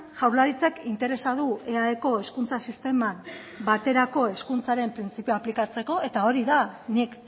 jaurlaritzak interesa du eaeko hezkuntza sisteman baterako hezkuntzaren printzipioa aplikatzeko eta hori da nik